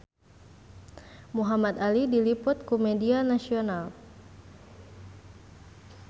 Muhamad Ali diliput ku media nasional